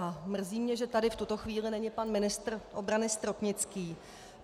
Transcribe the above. A mrzí mě, že tady v tuto chvíli není pan ministr obrany Stropnický.